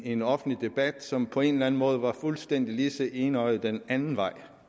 en offentlig debat som på en eller anden måde var fuldstændig lige så enøjet den anden vej